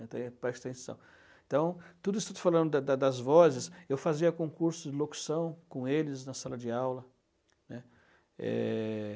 então, prestem atenção. Então, tudo isso que estou falando da da das vozes, eu fazia concurso de locução com eles na sala de aula, né. É...